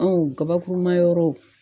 Ɔn gabakuru ma yɔrɔw